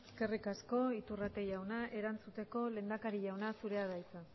eskerrik asko iturrate jauna erantzuteko lehendakari jauna zurea da hitza